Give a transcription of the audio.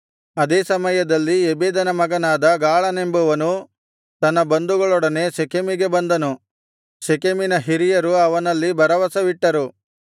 ಅದೇ ಸಮಯದಲ್ಲಿ ಎಬೆದನ ಮಗನಾದ ಗಾಳನೆಂಬುವನು ತನ್ನ ಬಂಧುಗಳೊಡನೆ ಶೆಕೆಮಿಗೆ ಬಂದನು ಶೆಕೆಮಿನ ಹಿರಿಯರು ಅವನಲ್ಲಿ ಭರವಸವಿಟ್ಟರು